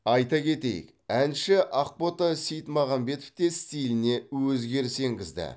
айта кетейік әнші ақбота сейітмағамбет те стиліне өзгеріс енгізді